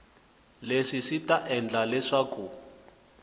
leswi swi ta endla leswaku